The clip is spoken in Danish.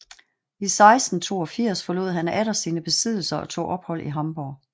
I 1682 forlod han atter sine besiddelser og tog ophold i Hamborg